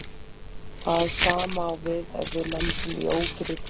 Það sama á við ef við lendum í ókyrrð í flugi.